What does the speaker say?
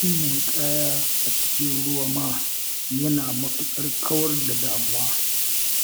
Yin ninƙaya a cikin ruwa ma yana matuƙar kawar da damuwa